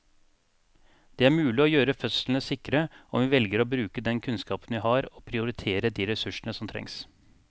Det er mulig å gjøre fødslene sikre om vi velger å bruke den kunnskapen vi har og prioritere de ressursene som trengs.